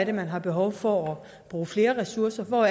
er man har behov for at bruge flere ressourcer hvor